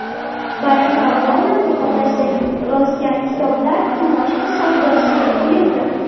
Barak Obamaning otasi yozgan kitoblar kimoshdi savdosiga qo‘yildi.